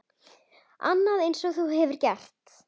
Annað eins hefur hún gert.